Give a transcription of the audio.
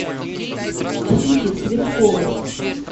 ксюхи цветковой